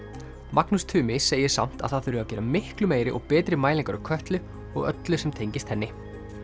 Magnús Tumi segir samt að það þurfi að gera miklu meiri og betri mælingar á Kötlu og öllu sem tengist henni